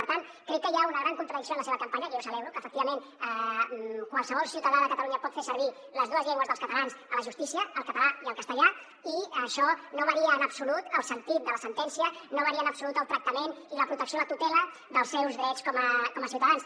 per tant crec que hi ha una gran contradicció en la seva campanya que jo celebro que efectivament qualsevol ciutadà de catalunya pot fer servir les dues llengües dels catalans a la justícia el català i el castellà i això no varia en absolut el sentit de la sentència no varia en absolut el tractament ni la protecció la tutela dels seus drets com a ciutadans